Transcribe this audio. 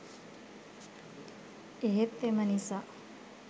එහෙත් එම නිසා